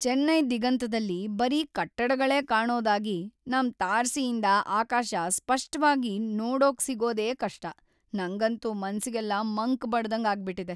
ಚೆನ್ನೈ ದಿಗಂತದಲ್ಲಿ ಬರೀ ಕಟ್ಟಡಗಳೇ ಕಾಣೋದಾಗಿ ನಮ್ ತಾರಸಿಯಿಂದ ಆಕಾಶ ಸ್ಪಷ್ಟವಾಗ್ ನೋಡಕ್ಸಿಗೋದೇ ಕಷ್ಟ.. ನಂಗಂತೂ ಮನ್ಸಿಗೆಲ್ಲ ಮಂಕ್‌ ಬಡ್ದಂಗ್‌ ಆಗ್ಬಿಟಿದೆ.